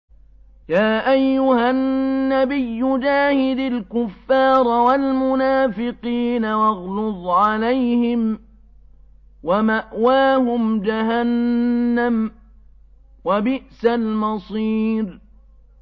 يَا أَيُّهَا النَّبِيُّ جَاهِدِ الْكُفَّارَ وَالْمُنَافِقِينَ وَاغْلُظْ عَلَيْهِمْ ۚ وَمَأْوَاهُمْ جَهَنَّمُ ۖ وَبِئْسَ الْمَصِيرُ